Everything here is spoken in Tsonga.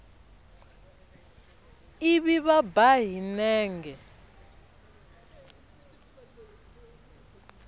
ivi va ba hi nenge